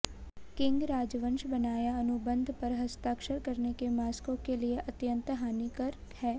king राजवंश बनाया अनुबंध पर हस्ताक्षर करने के मास्को के लिए अत्यंत हानिकर है